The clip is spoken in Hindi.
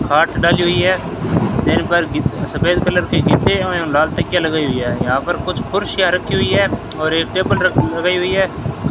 खाट डाली हुई है सफेद कलर और लाल कलर की तकिया लगी हुई है यहां पर कुछ कुर्सियां रखी हुई है और एक टेबिल लगाई हुई है।